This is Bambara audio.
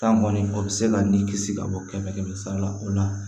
Tan kɔni o bɛ se ka nin kisi ka bɔ kɛmɛ kɛmɛ sara la o la